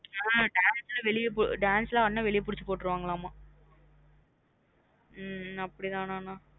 ஹம் dance லாம் dance லாம் ஆடுன வெளிய பிடுச்சு போற்றுவங்களமா ஹம் அப்டிதன நா